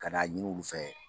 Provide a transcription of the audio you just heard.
Kana ɲini olu fɛ